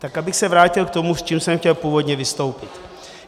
Tak abych se vrátil k tomu, s čím jsem chtěl původně vystoupit.